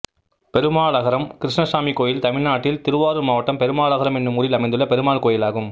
பெருமாளகரம் கிருணணசாமி கோயில் தமிழ்நாட்டில் திருவாரூர் மாவட்டம் பெருமாளகரம் என்னும் ஊரில் அமைந்துள்ள பெருமாள் கோயிலாகும்